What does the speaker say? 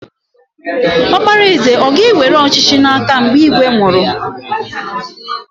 Ọkpara eze aga ewere ọchịchị n'aka mgbe ígwè nwụrụ?